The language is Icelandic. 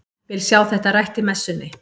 Vil sjá þetta rætt í messunni!